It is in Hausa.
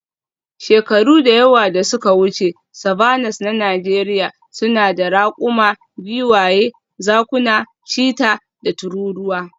Shekaru da yawa da suka wuce, savannas na Najeriya suna da raƙuma, giwaye, zakuna, cheetah, da tururuwa.